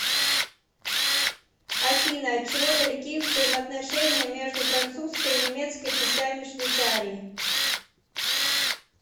афина от чего далеки взаимоотношения между французской и немецкой частями швейцарии